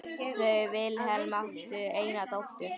Þau Vilhelm áttu eina dóttur.